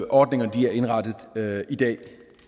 ordningerne er indrettet i dag